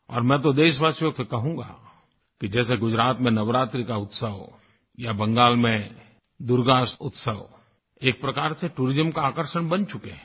और मैं तो देशवासियों से कहूँगा कि जैसे गुजरात में नवरात्रि का उत्सव या बंगाल में दुर्गा उत्सव एक प्रकार से टूरिज्म का आकर्षण बन चुके हैं